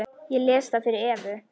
Ég les það fyrir Evu.